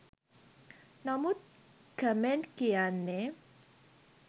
නමුත් කමෙන්ට් කියන්නෙ